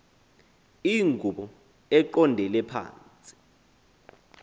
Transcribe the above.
iingubo eqondele phantsi